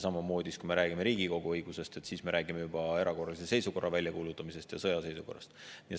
Kui me räägime Riigikogu õigusest, siis me räägime juba erakorralise seisukorra väljakuulutamisest ja sõjaseisukorrast.